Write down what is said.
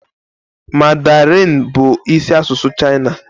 Mandarinee bụ isi asụsụ China.